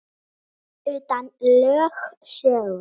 Utan lögsögu